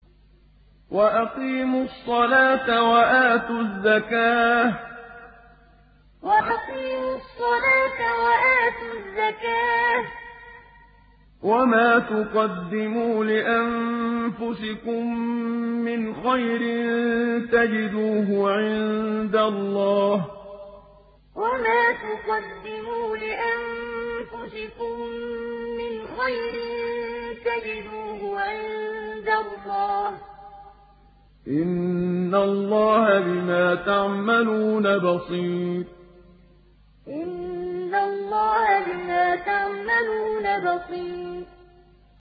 وَأَقِيمُوا الصَّلَاةَ وَآتُوا الزَّكَاةَ ۚ وَمَا تُقَدِّمُوا لِأَنفُسِكُم مِّنْ خَيْرٍ تَجِدُوهُ عِندَ اللَّهِ ۗ إِنَّ اللَّهَ بِمَا تَعْمَلُونَ بَصِيرٌ وَأَقِيمُوا الصَّلَاةَ وَآتُوا الزَّكَاةَ ۚ وَمَا تُقَدِّمُوا لِأَنفُسِكُم مِّنْ خَيْرٍ تَجِدُوهُ عِندَ اللَّهِ ۗ إِنَّ اللَّهَ بِمَا تَعْمَلُونَ بَصِيرٌ